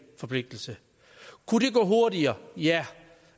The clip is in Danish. forpligtelse kunne det gå hurtigere ja